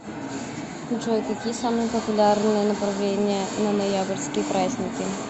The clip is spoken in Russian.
джой какие самые популярные направления на ноябрьские праздники